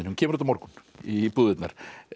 kemur út á morgun í búðirnar